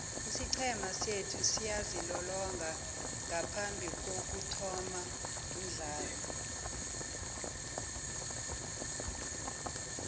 isiqhema sethu siyazilolonga ngaphambikokuthoma umdlalo